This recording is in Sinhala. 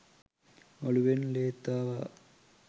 ඔළුවෙන් ලේත් ආවා.